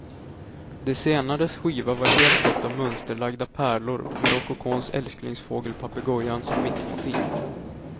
Det senares skiva var helt täckt av mönsterlagda pärlor med rokokons älsklingsfågel papegojan som mittmotiv.